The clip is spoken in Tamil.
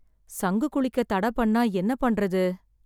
சங்கு குளிக்க தடை பண்ணா என்ன பண்ணுறது?